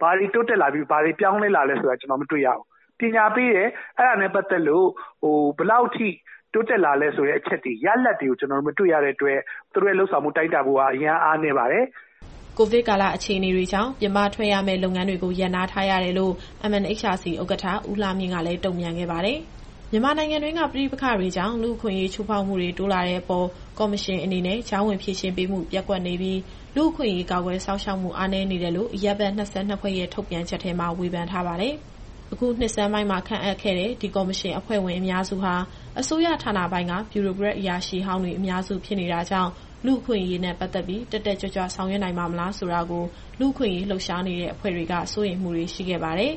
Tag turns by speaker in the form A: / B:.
A: ဘာတွေတိုးတက်လာပြီး၊ ဘာတွေပြောင်းလဲလာလဲဆိုတာ ကျနော်တို့မတွေ့ရဘူး။ ပညာပေးတယ် အဲဒါနဲ့ ပတ်သက်လို့ ဘယ်လောက်ထိ တိုးတက်လာလဲဆိုတဲ့အချက်တွေ၊ ရလဒ်တွေကို ကျနော်တို့မတွေ့ရတဲ့အတွက် သူတို့ရဲ့လုပ်ဆောင်မှု တိုင်းတာဖို့က အရမ်းအားနည်းပါတယ်။”
B: ကိုဗစ်ကာလ အခြေအနေကြောင့် ပြင်ပထွက်ရမယ့် လုပ်ငန်းတွေကို ရပ်နားထားရတယ်လို့ MNHRC ဥက္ကဋ္ဌ ဦးလှမြင့်ကလည်း တုံ့ပြန်ခဲ့ပါတယ်။ မြန်မာနိုင်ငံတွင်းက ပဋိပက္ခတွေကြောင့် လူ့အခွင့်အရေးချိုးဖောက်မှုတွေ တိုးလာတဲ့အပေါ်MNHRC အနေနဲ့ ကြားဝင်ဆောင်ရွက်ပေးမှု ပျက်ကွယ်နေပြီး လူ့အခွင့်အရေးကာကွယ်စောင့်ရှောက်မှု အားနည်းနေတယ်လို့ အရပ်ဘက် ၂၂ ဖွဲ့ရဲ့ ထုတ်ပြန်ချက်ထဲမှာ ဝေဖန်ထားပါတယ်။ အခုနှစ်ဆန်းပိုင်းမှာ ခန့်အပ်ခဲ့တဲ့ ဒီကော်မရှင်အဖွဲ့ဝင်အများစုဟာ အစိုးရဌာနပိုင်းက ဗျူရိုကရက်အရာရှိဟောင်းတွေ အများစုဖြစ်နေတာကြောင့်၊ လူ့အခွင့်အရေးနဲ့ ပတ်သက်ပြီး တက်တက်ကြွကြွဆောင်ရွက်ပါ့မလားဆိုတာကို လူ့အခွင့်အရေးလှုပ်ရှားနေတဲ့ အဖွဲ့တွေက စိုးရိမ်မှုတွေ ရှိခဲ့ပါတယ်။